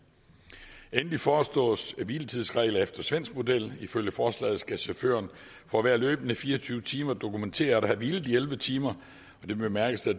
endelig foreslås der hviletidsregler efter svensk model ifølge forslaget skal chaufføren for hver løbende fire og tyve timer dokumentere at have hvilet i elleve timer og det bemærkes at